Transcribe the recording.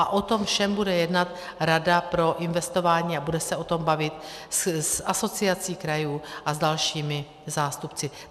A o tom všem bude jednat Rada pro investování a bude se o tom bavit s Asociací krajů a s dalšími zástupci.